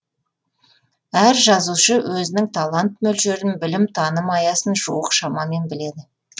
әр жазушы өзінің талант мөлшерін білім таным аясын жуық шамамен біледі